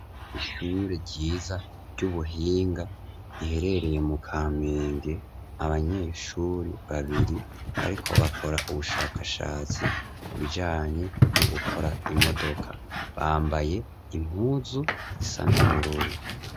Ishure ryiza ry'ubuhinga, riherereye mu Kamenge, abanyeshure babiri bariko bakora ubushakashatsi ku bijanye no gukora imodoka. Bambaye impuzu isa n'ubururu.